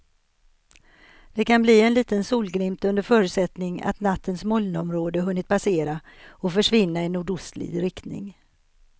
Det kan bli en liten solglimt under förutsättning att nattens molnområde hunnit passera och försvinna i nordostlig riktning.